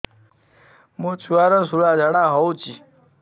ମୋ ଛୁଆର ସୁଳା ଝାଡ଼ା ହଉଚି